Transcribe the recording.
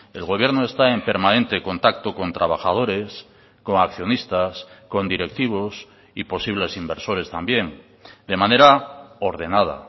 el gobierno está en permanente contacto con trabajadores con accionistas con directivos y posibles inversores también de manera ordenada